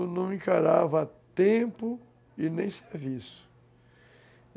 Eu não encarava tempo e nem serviço.